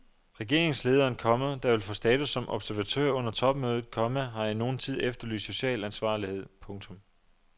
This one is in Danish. Regeringslederen, komma der vil få status som observatør under topmødet, komma har i nogen tid efterlyst social ansvarlighed. punktum